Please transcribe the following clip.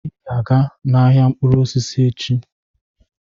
Ị ga-aga n'ahịa mkpụrụ osisi echi.